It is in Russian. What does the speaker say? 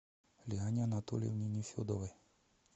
лиане анатольевне нефедовой